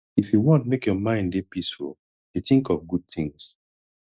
if you wan make your mind dey peaceful dey tink of good tins